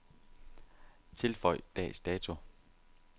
Tilføj dags dato.